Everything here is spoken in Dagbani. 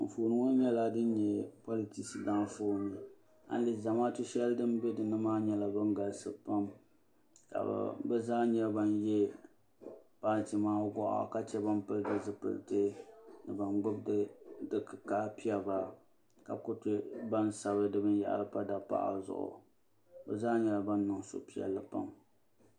Anfooni ŋɔ nyala din nyɛ politisi daafooni ayi lihi zamaatu shɛli din bɛ nimaa ni nyala din galisi pam ka be zaa nyɛ ban yɛ paati maa gɔɣa ka chɛ ban pili di zupilisi ni ban gbibi di kikaa pɛbra ka ku chɛ ban sabi di binyahiri pa dapaɣri zuɣu be zaa nyɛla ban niŋ suhipɛlli pam